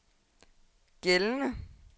gældende